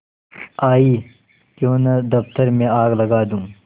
आयीक्यों न दफ्तर में आग लगा दूँ